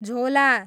झोला